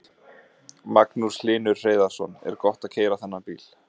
Magnús Hlynur Hreiðarsson: Er gott að keyra þennan bíl?